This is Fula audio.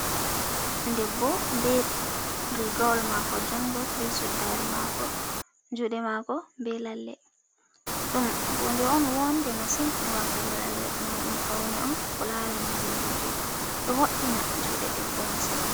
Debbo ɓe rigowol mako jungol, be suddare mako, jude mako be lalle, ɗum hunde on wonɗe masin watugo lalle, gam ɗum faune'on ko larani je roɓe, ɗo woi'ina jude debbo masin.